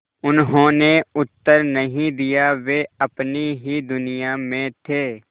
उन्होंने उत्तर नहीं दिया वे अपनी ही दुनिया में थे